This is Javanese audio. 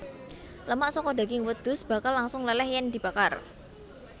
Lemak saka daging wedhus bakal langsung leleh yen dibakar